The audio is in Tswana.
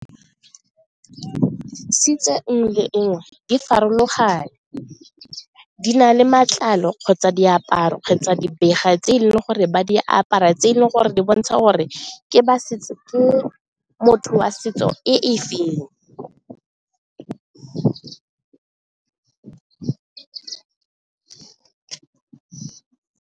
nngwe le nngwe di farologane, di na le matlalo kgotsa diaparo kgotsa tse e leng gore ba di apara tse e leng gore di bontsha go re ke ba setso, motho wa setso e feng.